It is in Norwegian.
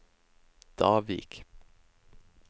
Davik